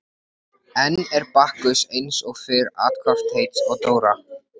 Svo fór ég austur og lenti á mínu fyrsta fylleríi.